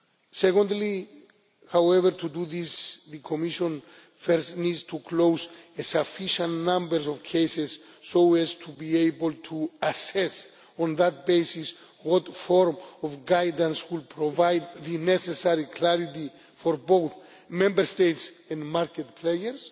Secondly, however, to do this, the Commission first needs to close a sufficient number of cases so as to be able to assess on that basis what form of guidance would provide the necessary clarity for both Member States and market players.